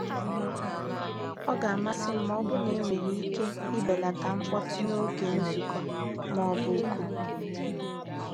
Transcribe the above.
Ọ ga-amasị m ma ọ bụrụ na enwere ike ibelata mkpọtụ n'oge nzukọ ma ọ bụ oku.